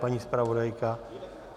Paní zpravodajka?